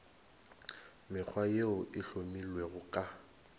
mekgwa yeo e hlomilwego ka